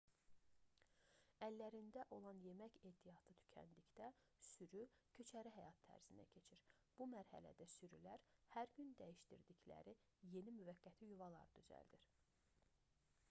əllərində olan yemək ehtiyatı tükəndikdə sürü köçəri həyat tərzinə keçir bu mərhələdə sürülər hər gün dəyişdirdikləri yeni müvəqqəti yuvalar düzəldir